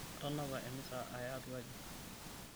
Atanapa emisa aya atua aji.